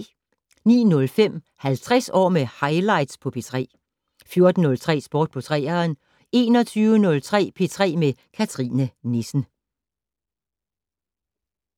09:05: 50 år med highlights på P3 14:03: Sport på 3'eren 21:03: P3 med Cathrine Nissen